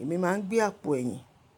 Èmi máa ń gbé àpò ẹ̀yìn.